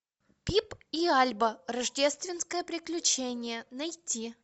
пип и альба рождественское приключение найти